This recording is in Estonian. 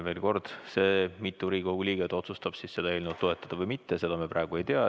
Veel kord: seda, mitu Riigikogu liiget otsustab seda eelnõu toetada või mitte, me praegu ei tea.